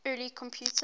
early computers